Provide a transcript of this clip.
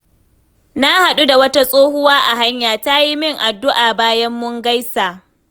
Na hadu da wata tsohuwa a hanya, ta yi min addu’a bayan mun gaisa.